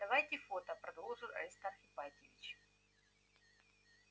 давайте фото продолжил аристарх ипатьевич